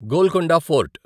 Golconda fort